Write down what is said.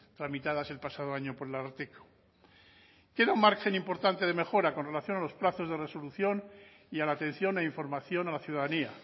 tramitadas el pasado año por el ararteko queda un margen importante de mejora con relación a los plazos de resolución y a la atención e información a la ciudadanía